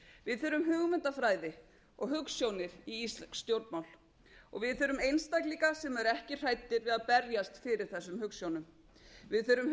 við þurfum hugmyndafræði og hugsjónir í íslensk stjórnmál við þurfum einstaklinga sem eru ekki hræddir við að berjast fyrir þessum hugsjónum við þurfum